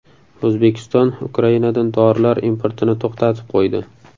O‘zbekiston Ukrainadan dorilar importini to‘xtatib qo‘ydi.